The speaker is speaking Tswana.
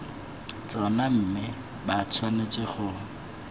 tsona mme ba tshwanetse go